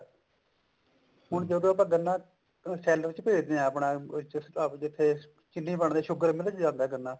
ਹੁਣ ਜਦੋਂ ਆਪਾਂ ਗੰਨਾ ਸੇਲਰ ਚ ਭੇਜਦੇ ਹਾਂ ਆਪਾਂ ਜਿੱਥੇ ਚਿੰਨੀ ਬਣਦੀ sugar ਮਿਲ ਚ ਜਾਂਦਾ ਗੰਨਾ